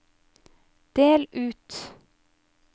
del ut